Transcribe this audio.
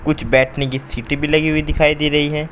कुछ बैठने की सीटें भी लगी हुई दिखाई दे रही हैं।